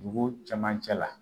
Dugu cɛmancɛ la